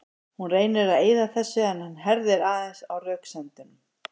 Hún reynir að eyða þessu en hann herðir aðeins á röksemdunum.